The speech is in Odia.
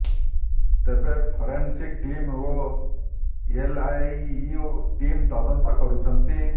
ତେବେ ଫରେନସିକ ଟିମ ଓ ଏଲଆଇୟୁ ଟିମ ତଦନ୍ତ କରୁଛନ୍ତି